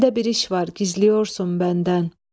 Səndə bir iş var, gizləyorsan məndən.